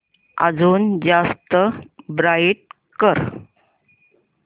अजून जास्त ब्राईट कर